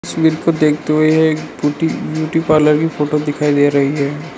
तस्वीर को देखते हुए एक बूटी ब्यूटी पार्लर की फोटो दिखाई दे रही है।